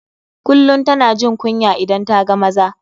Kullum tana jin kunya idan ta ga maza.